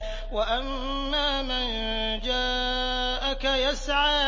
وَأَمَّا مَن جَاءَكَ يَسْعَىٰ